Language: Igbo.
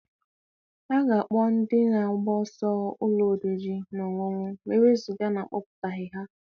A ga-akpọ ndị na-agba ọsọ ụlọ oriri na ọṅụṅụ ma e wezụga na ekwuputaghị ya.